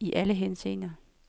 i alle henseender.